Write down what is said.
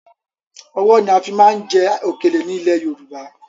Ọwọ́ ni a fi máa ń jẹ òkèlè ni ilẹ̀ Yorùbá